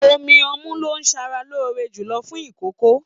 Omí ọmu lo sára lóore jùlọ fún ikòkò.